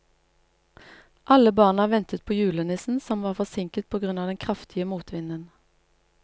Alle barna ventet på julenissen, som var forsinket på grunn av den kraftige motvinden.